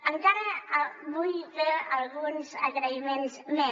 encara vull fer alguns agraïments més